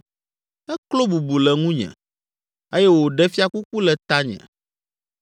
Eklo bubu le ŋunye eye wòɖe fiakuku le tanye.